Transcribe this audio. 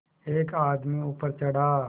एक आदमी ऊपर चढ़ा